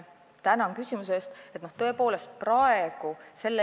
Tänan küsimuse eest!